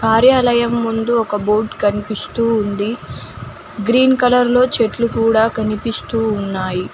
కార్యాలయం ముందు ఒక బోర్డ్ కనిపిస్తూ ఉంది గ్రీన్ కలర్ లో చెట్లు కూడా కనిపిస్తూ ఉన్నాయి.